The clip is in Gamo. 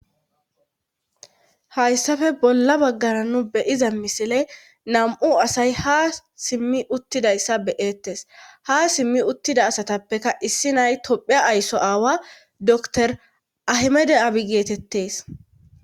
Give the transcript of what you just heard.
hayssafe bolla baggara nu beyiza misile nam7u asay ha simmi uttidayssa beyettes ha simmi uttida asatappeka issi nay tophea aysso aawa dor ahimede abi geetettes